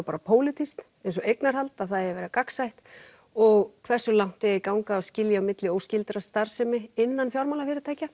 bara pólitískt eins og eignarhald að það eigi að vera gagnsætt og hversu langt eigi að ganga í að skilja á milli óskyldrar starfsemi innan fjármálafyrirtækja